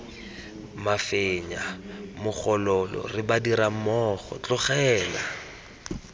mafenya mogolole re badirammogo tlogela